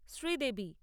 Sridevi